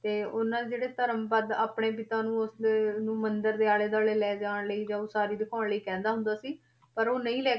ਤੇ ਉਹਨਾਂ ਦੇ ਜਿਹੜੇ ਧਰਮਪਦ ਆਪਣੇ ਪਿਤਾ ਨੂੰ ਉਸਦੇ ਮੰਦਿਰ ਦੇ ਆਲੇ ਦੁਆਲੇ ਲੈ ਜਾਣ ਲਈ ਜਾਂ ਉਸਾਰੀ ਦਿਖਾਉਣ ਲਈ ਕਹਿੰਦਾ ਹੁੰਦਾ ਸੀ ਪਰ ਉਹ ਨਹੀਂ ਲੈ